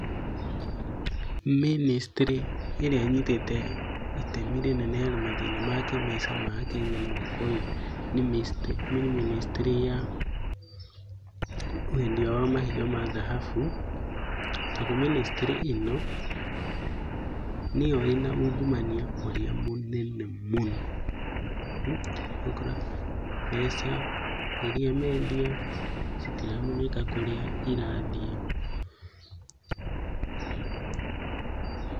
Ministry ĩrĩa ĩnyitĩte itemi rĩnene harĩ mathĩna ma kĩmbeca ma akenya mwaka ũyũ nĩ ministry ya wendia wa mahiga ma dhahabu. Tondũ ministry ĩno nĩyo ĩna ungumania mũnene mũno. Ũgakora mbeca iria mendia, citiramenyeka kũrĩa irathiĩ.